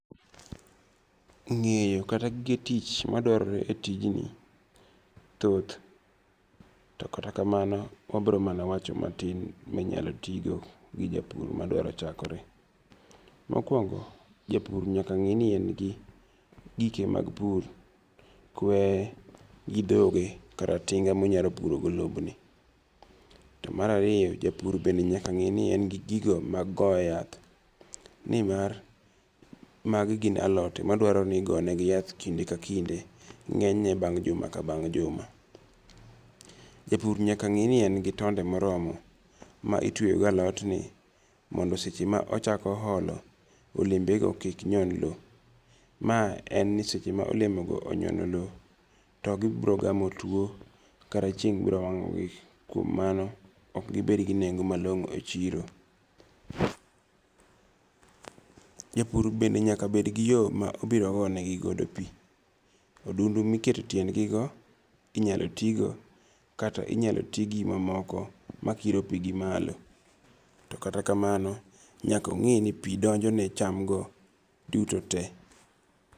Ng'eyo kata gige tich madwarore e tij ni thoth. To kata kamano wabiromana wacho matin minyalo tigo gi japur madwaro chakore. Mokwongo, japur nyaka ng'e ni en gi gike mag pur. Kwe gi dhoge kata tinga monyalo puro go lob ni. To mar ariyo japur bende nyaka ng'e ni en gi gigo mag go yath. Nimar magi gin alote madwaro ni igonegi yath kinde ka kinde ng'eny ne bang' juma ka bang' juma. Japur nyaka ng'e ni en gi tonde moromo ma itwe go alot ni mondo seche ma ochako olo olembe go kik nyon lo. Ma en ni seche ma olemo go onyono lo to gibiro gamo tuo kata chieng' biro wang'o gi kuom mano ok gibed go nengo malong'o e chiro. Japur bende nyaka bed gi yo ma obiro go ne gi go pi. Odundu miketo e tiend gi go inyalo ti go kata inyalo ti gi mamoko makiro pi gi malo. Kata ka mano nyaka ong'e ni pi donjo ne cham go duto te.